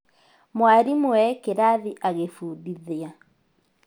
Mwalimũ e kĩrathi agĩfundithia